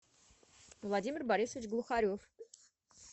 владимир борисович глухарев